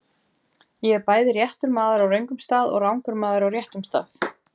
Ég er bæði réttur maður á röngum stað og rangur maður á réttum stað.